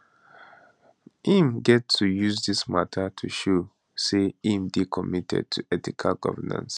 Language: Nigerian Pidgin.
im get to use dis mata to show say im dey committed to ethical governance